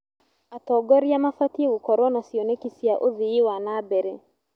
Atongoria mabatiĩ gũkorwo na cioneki cia ũthii wa na mbere.